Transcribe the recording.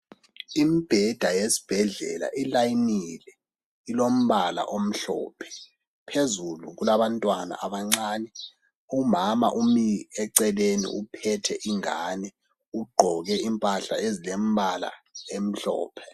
Umbheda yesibhedlela ilayinile ilombala omhlophe phezulu kulabantwana abancane umama umi eceleni uphethe ingane ugqoke impahla ezilembala emhlophe.